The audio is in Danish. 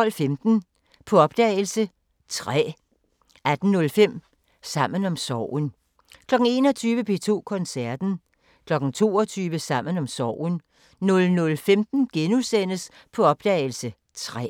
12:15: På opdagelse – Træ 18:05: Sammen om sorgen 21:00: P2 Koncerten 22:00: Sammen om sorgen 00:15: På opdagelse – Træ *